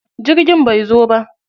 Jirgin bai zo ba.